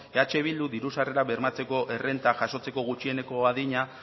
eh bildu diru sarrerak bermatzeko errenta jasotzeko gutxieneko adina